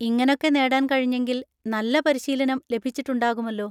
ഇങ്ങനൊക്കെ നേടാൻ കഴിഞ്ഞെങ്കിൽ നല്ല പരിശീലനം ലഭിച്ചിട്ടുണ്ടാകുമല്ലോ.